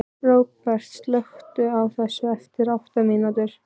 Róbert, slökktu á þessu eftir átta mínútur.